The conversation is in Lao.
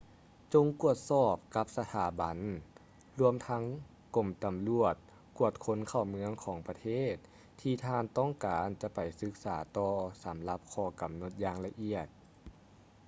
ຈົ່ງກວດສອບກັບສະຖາບັນ ລວມທັງກົມຕຳຫຼວດກວດຄົນເຂົ້າເມືອງຂອງປະເທດທີ່ທ່ານຕ້ອງການຈະໄປສຶກສາຕໍ່ສຳລັບຂໍ້ກຳນົດຢ່າງລະອຽດ